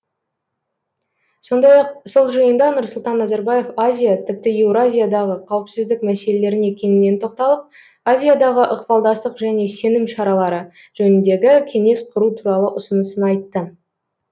сондай ақ сол жиында нұрсұлтан назарбаев азия тіпті еуразиядағы қауіпсіздік мәселелеріне кеңінен тоқталып азиядағы ықпалдастық және сенім шаралары жөніндегі кеңес құру туралы ұсынысын айтты